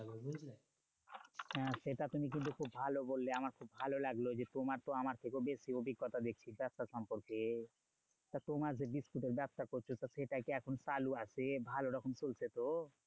হ্যাঁ সেটা তুমি কিন্তু খুব ভালো বললে আমার খুব ভালো লাগলো যে, তোমার তো আমার থেকেও বেশি অভিজ্ঞতা দেখছি ব্যবসা সম্পর্কে। তা তোমার যে বিস্কুটের ব্যবসা করছো তো সেটা কি এখন চালু আছে? ভালো রকম চলছে তো?